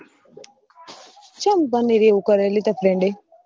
ચમ પણ એરી એવું કરે લી તાર friend એ